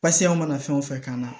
Pasike an mana fɛn o fɛn kan